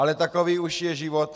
Ale takový už je život.